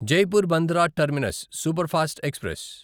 Jaipur Bandra terminus superfast express